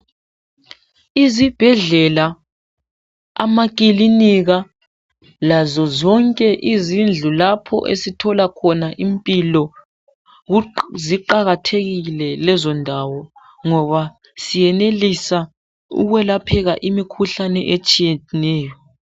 Izibhedlela, amakilinika lazo zonke izindlu lapho esithola khona impilo ziqakathekile lezo ndawo ngoba siyenelisa ukwelapheka imikhuhlane etshiyeneyo